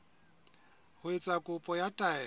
ho etsa kopo ya taelo